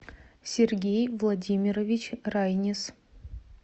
сергей владимирович райнис